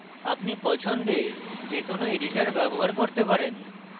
আপনি পছন্দের যে কোনো editor ব্যবহার করতে পারেন